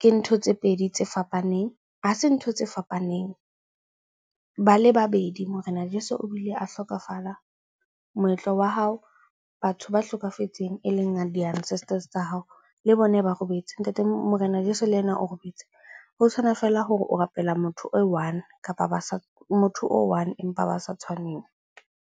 Ke ntho tse pedi tse fapaneng, ha se ntho tse fapaneng. Ba le babedi morena jeso o bile a hlokafala. Moetlo wa hao, batho ba hlokafetseng e leng di-ancestors tsa hao le bona ba robetse. Ntate morena jeso le ena o robetse. Ho tshwana feela hore o rapela motho o i-one kapa, motho o one empa ba sa tshwaneng.